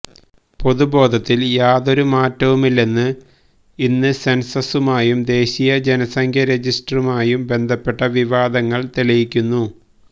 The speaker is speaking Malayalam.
പൊതുബോധത്തിൽ യാതൊരു മാറ്റവുമില്ലെന്ന് ഇന്ന് സെൻസസുമായും ദേശീയ ജനസംഖ്യ രജിസ്റ്ററമായും ബന്ധപ്പെട്ട വിവാദങ്ങൾ തെളിയിക്കുന്നു